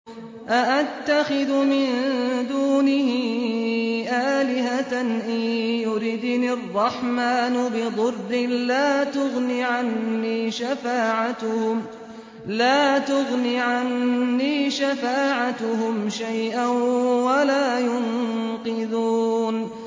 أَأَتَّخِذُ مِن دُونِهِ آلِهَةً إِن يُرِدْنِ الرَّحْمَٰنُ بِضُرٍّ لَّا تُغْنِ عَنِّي شَفَاعَتُهُمْ شَيْئًا وَلَا يُنقِذُونِ